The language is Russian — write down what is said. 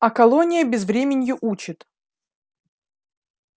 а колония безвременью учит